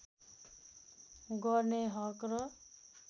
गर्ने हक र